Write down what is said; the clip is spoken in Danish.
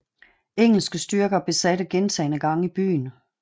Engelske styrker besatte gentagne gange byen